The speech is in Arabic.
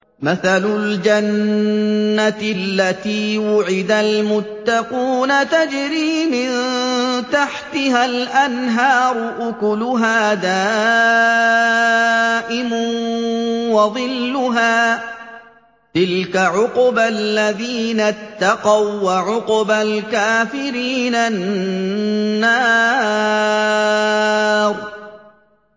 ۞ مَّثَلُ الْجَنَّةِ الَّتِي وُعِدَ الْمُتَّقُونَ ۖ تَجْرِي مِن تَحْتِهَا الْأَنْهَارُ ۖ أُكُلُهَا دَائِمٌ وَظِلُّهَا ۚ تِلْكَ عُقْبَى الَّذِينَ اتَّقَوا ۖ وَّعُقْبَى الْكَافِرِينَ النَّارُ